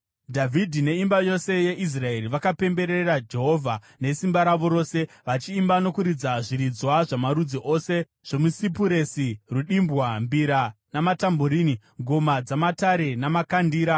Dhavhidhi neimba yose yeIsraeri vakapemberera Jehovha nesimba ravo rose, vachiimba nokuridza zviridzwa zvamarudzi ose zvomusipuresi, rudimbwa, mbira, matambureni, ngoma dzamatare namakandira.